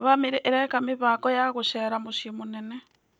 Bamĩrĩ ĩreka mĩbango ya gũcerera mũciĩ mũnene.